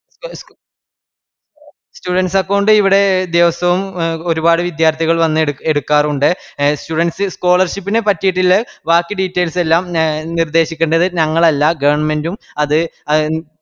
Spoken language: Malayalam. students account ഇവിടെ ദിവസ്സവും ഒരുപാട് വിദ്യാർത്ഥികൾ വന്ന് എടുക്ക് എടുക്കാറുണ്ട്. എ students scholarship നെ പട്ടിട്ള്ള വാക്കി details എല്ലാം ഞ നിര്ദേശിക്കണ്ടത് ഞങ്ങളല്ല government ഉം അത് ആ